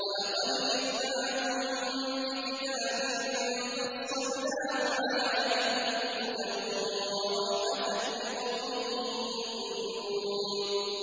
وَلَقَدْ جِئْنَاهُم بِكِتَابٍ فَصَّلْنَاهُ عَلَىٰ عِلْمٍ هُدًى وَرَحْمَةً لِّقَوْمٍ يُؤْمِنُونَ